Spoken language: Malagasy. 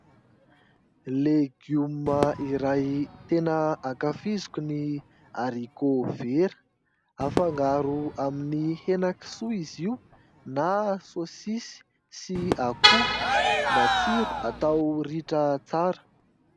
Legioma iray tena ankafiziko ny arikovera, afangaro amin'ny henakisoa izy io na saosisy sy akoho, matsiro atao ritra tsara.